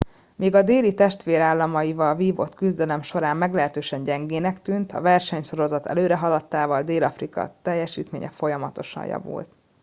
míg a déli testvérállamaival vívott küzdelem során meglehetősen gyengének tűnt a versenysorozat előrehaladtával dél afrika teljesítménye folyamatosan javult